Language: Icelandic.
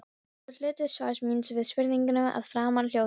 Síðari hluti svars míns við spurningunni að framan hljóðar svo